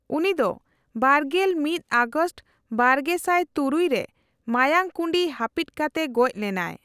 ᱩᱱᱤ ᱫᱚ ᱵᱟᱨᱜᱮᱞ ᱢᱤᱛ ᱟᱜᱚᱥᱴ ᱵᱟᱨᱜᱮᱥᱟᱭ ᱛᱩᱨᱩᱭ ᱨᱮ ᱢᱟᱭᱟᱝ ᱠᱩᱸᱰᱤ ᱦᱟᱹᱯᱤᱛ ᱠᱟᱛᱮ ᱜᱡᱚᱽ ᱞᱮᱱᱟᱭ ᱾